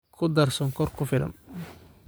Ku dar sonkor ku filan